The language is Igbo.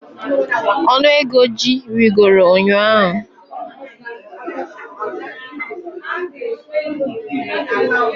Ọnụ ego ji rịgoro ụnyahụ